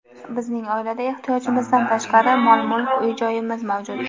Bizning oilada ehtiyojimizdan tashqari mol-mulk, uy-joyimiz mavjud.